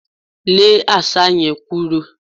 Lé Àṣá yẹn kúrò!